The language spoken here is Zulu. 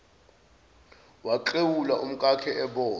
waklewula umkakhe ebona